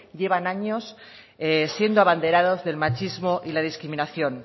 llevan años siendo abanderados del machismo y la discriminación